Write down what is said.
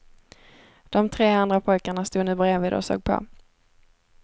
De tre andra pojkarna stod nu brevid och såg på.